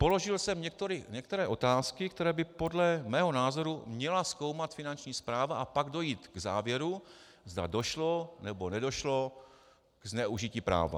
Položil jsem některé otázky, které by podle mého názoru měla zkoumat Finanční správa a pak dojít k závěru, zda došlo, nebo nedošlo ke zneužití práva.